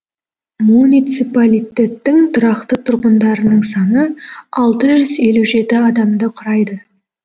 муниципалитеттің тұрақты тұрғындарының саны алты жүз елу жеті адамды құрайды